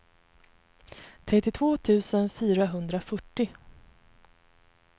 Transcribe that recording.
trettiotvå tusen fyrahundrafyrtio